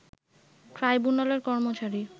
ট্রাইবুনালের কর্মচারী